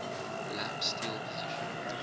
lap steel position